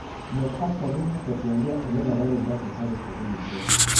mwet ak sabunit kotienge ole kaarorundo chechobei sabunisiek